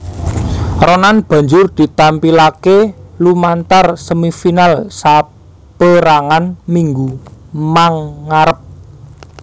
Ronan banjur ditampilaké lumantar semi final saperangan minggu mangarep